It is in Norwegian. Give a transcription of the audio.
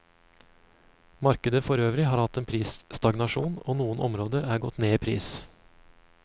Markedet forøvrig har hatt en prisstagnasjon, og noen områder er gått ned i pris.